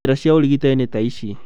Njĩra cia ũrigitani nĩ ta ici